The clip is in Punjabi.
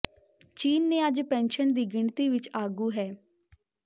ਚੀਨ ਨੇ ਅੱਜ ਪੈਨਸ਼ਨ ਦੀ ਗਿਣਤੀ ਵਿੱਚ ਆਗੂ ਹੈ